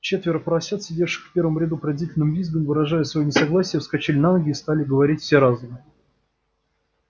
четверо поросят сидевших в первом ряду пронзительным визгом выражая своё несогласие вскочили на ноги и стали говорить все разом